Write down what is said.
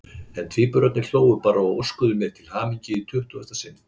En tvíburarnir hlógu bara og óskuðu mér til hamingju í tuttugasta sinn.